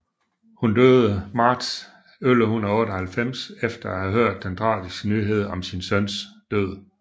Hun døde marts 1198 efter at have hørt den tragiske nyhed om sin søns død